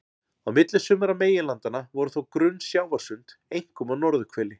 Á milli sumra meginlandanna voru þó grunn sjávarsund, einkum á norðurhveli.